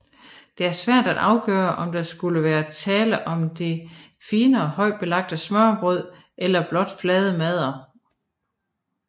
Det er svært at afgøre om der skulle være tale om det finere højtbelagte smørrebrød eller blot flade madder